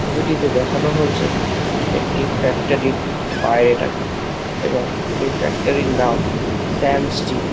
ছবিটিতে দেখানো হয়েছে একটি ফ্যাক্টরির বাইরেটাকে এবং সেই ফ্যাক্টরির নাম শ্যাম স্টিল ।